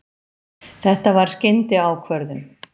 Þetta var skyndiákvörðun.